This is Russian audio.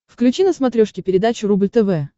включи на смотрешке передачу рубль тв